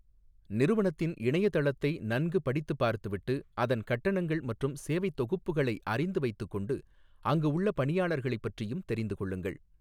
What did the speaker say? நிறுவனத்தின் இணையதளத்தை நன்கு படித்துப் பார்த்துவிட்டு, அதன் கட்டணங்கள் மற்றும் சேவைத் தொகுப்புகளை அறிந்து வைத்துக்கொண்டு, அங்கு உள்ள பணியாளர்களைப் பற்றியும் தெரிந்து கொள்ளுங்கள்.